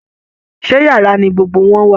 Ṣé yàrá ni gbogbo wọn wà?